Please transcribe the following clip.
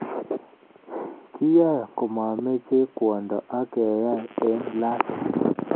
Kiyae komameche kwondo ak keyae eng lasima